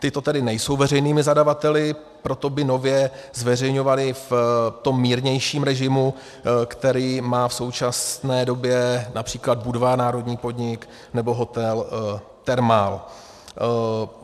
Tito tedy nejsou veřejnými zadavateli, proto by nově zveřejňovaly v tom mírnějším režimu, který má v současné době například Budvar, národní podnik, nebo hotel Thermal.